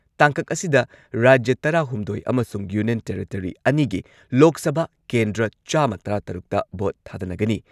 ꯇꯥꯡꯀꯛ ꯑꯁꯤꯗ ꯔꯥꯖ꯭ꯌ ꯇꯔꯥꯍꯨꯝꯗꯣꯏ ꯑꯃꯁꯨꯡ ꯌꯨꯅꯤꯌꯟ ꯇꯦꯔꯤꯇꯣꯔꯤ ꯑꯅꯤꯒꯤ ꯂꯣꯛ ꯁꯚꯥ ꯀꯦꯟꯗ꯭ꯔ ꯆꯥꯝꯃ ꯇꯔꯥꯇꯔꯨꯛꯇ ꯚꯣꯠ ꯊꯥꯗꯅꯒꯅꯤ꯫